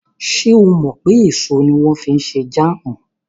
Ṣé o mọ̀ pé èso ni wọ́n fi ń ṣe jáàmù?